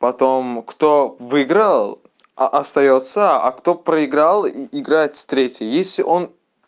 потом кто выиграл а остаётся а кто проиграл и играет с третьей если он